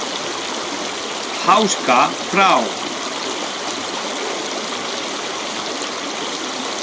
Háska frá.